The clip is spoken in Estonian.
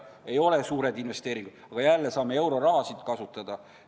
Ei ole suured investeeringud, aga jälle saame euroraha kasutada.